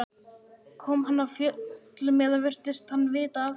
Kom hann af fjöllum eða virtist hann vita af þessu?